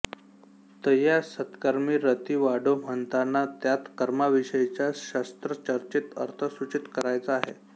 तयां सत्कर्मीं रती वाढो म्हणताना त्यात कर्माविषयीचा शास्त्रचर्चित अर्थ सूचित करायचा आहे